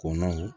Kɔnɔn